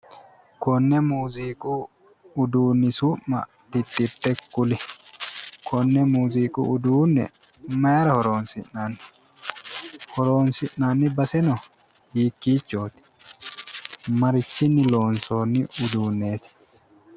Konne muuziiqu uduunni su'mmi titirte kuli konne muuziiqu uduunne mayira horonsi'nanni horonsi'nanni baseno hiikkiichoti / marichinni loonsionni uduunnichoti.